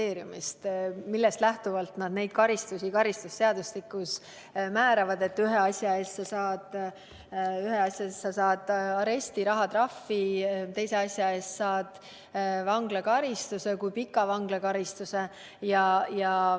millest lähtuvalt neid karistusi karistusseadustikus määratakse, nii et ühe asja eest saad aresti või rahatrahvi, teise asja eest saad vanglakaristuse ja kui pika vanglakaristuse.